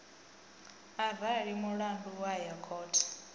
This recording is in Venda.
arali mulandu wa ya khothe